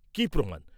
কি প্রমাণ?